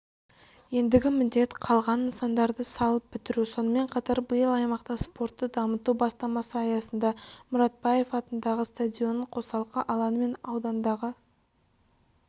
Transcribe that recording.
ендігі міндет қалған нысандарды салып бітіру сонымен қатар биыл аймақта спортты дамыту бастамасы аясында мұратбаев атындағы стадионның қосалқы алаңы мен аудандағы